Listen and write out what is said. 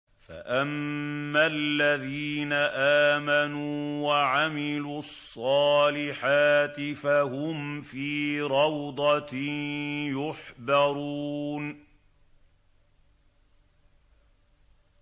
فَأَمَّا الَّذِينَ آمَنُوا وَعَمِلُوا الصَّالِحَاتِ فَهُمْ فِي رَوْضَةٍ يُحْبَرُونَ